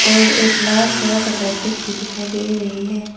और एक लाल कलर का कारपेट भी दिखाई दे रही है।